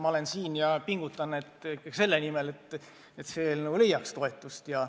Ma olen siin ja pingutan ikkagi selle nimel, et meie eelnõu leiaks toetust.